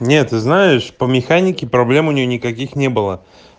нет ты знаешь по механике проблем у нее никаких не было